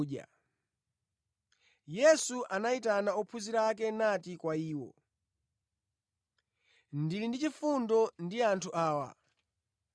“Ndili ndi chifundo ndi anthu awa; akhala ali ndi Ine masiku atatuwa ndipo alibe chakudya.